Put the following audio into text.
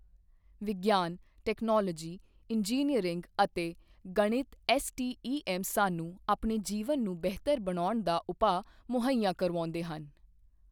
ਵਿਗਿਆਨ, technology , engineering ਅਤੇ ਗਣਿਤ ਐੱਸਟੀਈਐੱਮ ਸਾਨੂੰ ਆਪਣੇ ਜੀਵਨ ਨੂੰ ਬਿਹਤਰ ਬਣਾਉਣ ਦਾ ਉਪਾਅ ਮੁਹੱਇਆ ਕਰਵਾਉਂਦੇ ਹਨ।